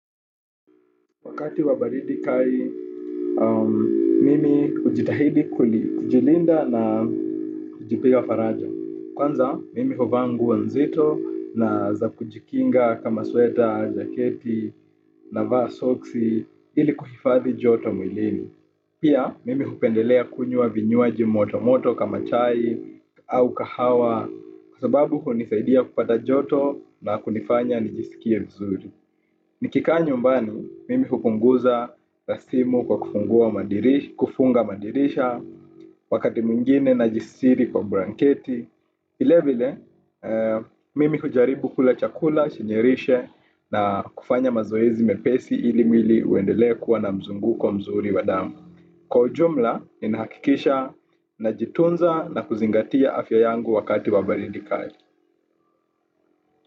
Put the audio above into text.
Wakati wa baridi kali, mimi hujitahidi kujilinda na kujipa faraja. Kwanza, mimi huvaa nguo nzito na za kujikinga kama sweta, jaketi na soksi ili kuhifadhi joto mwilini. Pia, mimi hupendelea kunywa vinywaji moto kama chai au kahawa kwa sababu hunisaidia kupata joto na kunifanya nijisikie vizuri. Nikikaa nyumbani, mimi hupunguza rasimu kwa kufunga madirisha wakati mwingine na kujisitiri kwa blanketi. Vile vile, mimi hujaribu kula chakula, kujisitiri na kufanya mazoezi mepesi ili mwili uendelee kuwa na mzunguko mzuri wa damu. Kwa ujumla, ninahakikisha najitunza na kuzingatia afya yangu wakati wa baridi kali.